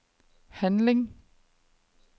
handling